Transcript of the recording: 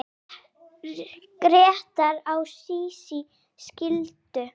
Grétar og Sísí skildu.